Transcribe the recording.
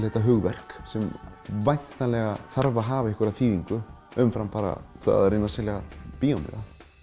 þetta hugverk sem væntanlega þarf að hafa þýðingu umfram það að selja bíómiða